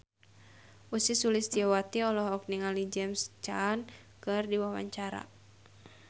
Ussy Sulistyawati olohok ningali James Caan keur diwawancara